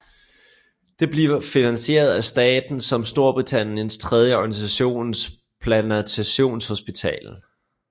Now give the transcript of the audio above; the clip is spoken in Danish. Det bliver finansieret af staten som Storbritanniens tredje organtransplantationshospital